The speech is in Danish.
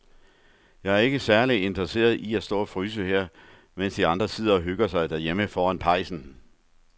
Jeg er ikke særlig interesseret i at stå og fryse her, mens de andre sidder og hygger sig derhjemme foran pejsen.